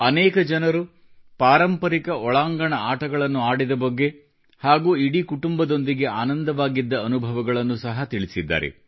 ಅನೇಕ ಜನರು ಪಾರಂಪರಿಕ ಒಳಾಂಗಣ ಆಟಗಳನ್ನು ಆಡಿದ ಬಗ್ಗೆ ಹಾಗೂ ಇಡೀ ಕುಟುಂಬದೊಂದಿಗೆ ಆನಂದವಾಗಿದ್ದ ಅನುಭವಗಳನ್ನು ಸಹ ತಿಳಿಸಿದ್ದಾರೆ